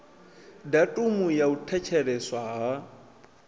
datumu ya u thetsheleswa ha